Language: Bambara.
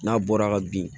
N'a bɔra ka bin